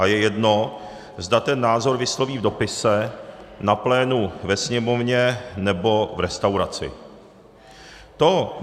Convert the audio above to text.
A je jedno, zda ten názor vysloví v dopise, na plénu ve Sněmovně, nebo v restauraci.